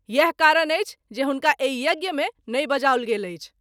इएह कारण अछि जे हुनका एहि यज्ञ मे नहिं बजाओल गेल अछि।